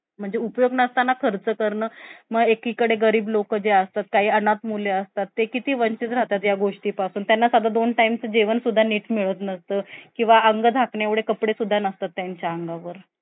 की आपल्याला job करायचं